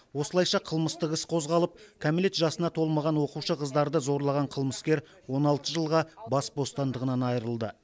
осылайша қылмыстық іс қозғалып кәмелет жасына толмаған оқушы қыздарды зорлаған қылмыскер он алты жылға бас бостандығынан айырылды